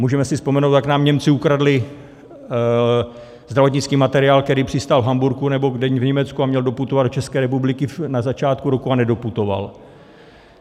Můžeme si vzpomenout, jak nám Němci ukradli zdravotnický materiál, který přistál v Hamburku, nebo v Německu, a měl doputovat do České republiky na začátku roku a nedoputoval.